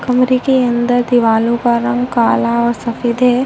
कमरे के अंदर दिवालो का रंग काला और सफ़ेद है।